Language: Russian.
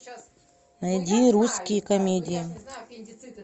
найди русские комедии